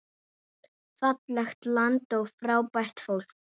Fallegt land og frábært fólk.